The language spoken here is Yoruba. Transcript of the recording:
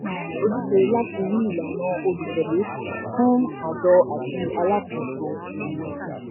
um àjọ ní um ojúṣe láti ri ìlànà olùtẹ̀lé fún àjọ àti alákòóso. um